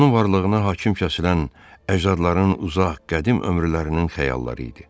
Onun varlığına hakim kəsilən əcdadların uzaq, qədim ömürlərinin xəyalları idi.